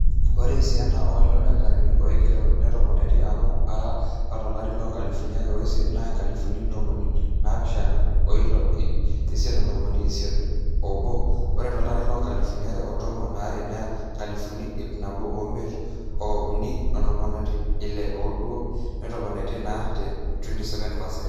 ore esiana oolelo dakitarini ooigerro netopone amu are apa tolari loo nkalifuni are ooiisiet naa inkalifuni ntomoni naapishana ooile ip isiet ontomoni isiet oobo ore tolari loonkalifuni are otomon aare naa inkalifuni ip nabo ooimiet o ip uni ontomoni ile ooudo. netopone naa te 27 percent